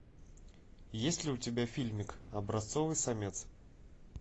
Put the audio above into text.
есть ли у тебя фильмик образцовый самец